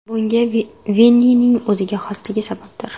Bunga Vinnining o‘ziga xosligi sababdir.